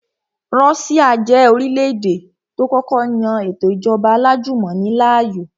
Russia jẹ́ orílẹ̀-èdè tó kọ́kọ́ yan ètò ìjọba alájùmọ̀ni láàyò